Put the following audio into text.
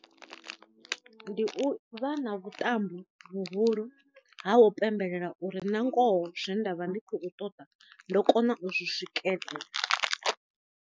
Ndi u vha na vhuṱambi vhuhulu ha u pembelela uri na ngoho zwe nda vha ndi khou ṱoḓa ndo kona u zwi swikelela.